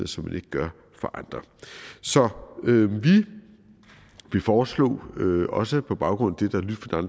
som man ikke gør for andre så vi vil foreslå også på baggrund